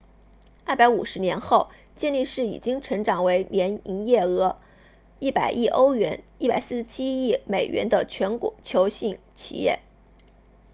250年后健力士已经成长为年营业额100亿欧元147亿美元的全球性企业